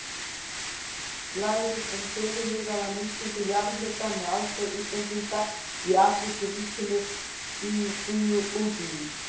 Glærur um fyrirhugaða nýtingu jarðhita með aðstoð Íslendinga í Afríkuríkinu Djíbútí.